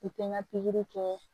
I tɛ n ka pikiri kɛ